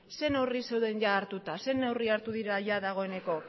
ze neurri zeuden ia hartuta ze neurri hartu dira ia dagoeneko